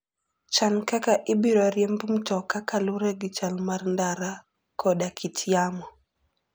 Chan kaka ibiro riemb mtoka kaluwore gi chal mar ndara koda kit yamo.